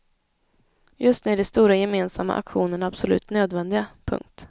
Just nu är de stora gemensamma aktionerna absolut nödvändiga. punkt